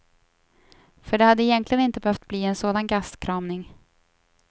För det hade egentligen inte behövt bli en sån gastkramning.